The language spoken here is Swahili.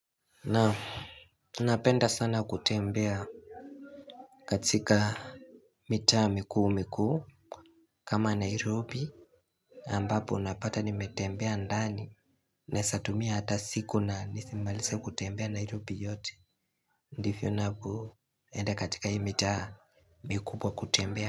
Naam ninapenda sana kutembea katika mitaa mikuu mikuu kama Nairobi ambapo unapata nimetembea ndani Nesatumia hata siku na nisimalise kutembea Nairobi yote Ndifio nabo enda katika hii mitaa mikubwa kutembea.